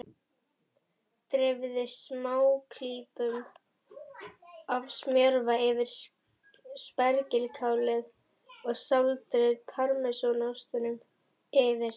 Dreifið smáklípum af smjörva yfir spergilkálið og sáldrið parmesanostinum yfir.